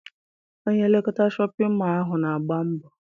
Onye nlekọta Shọpịn mọọ ahụ na-agba mbọ.